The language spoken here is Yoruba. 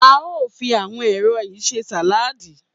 A óò fi àwo̩n èso yìí s̩e sàláàdì